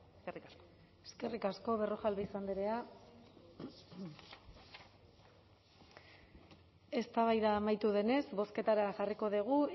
eskerrik asko eskerrik asko berrojalbiz andrea eztabaida amaitu denez bozketara jarriko dugu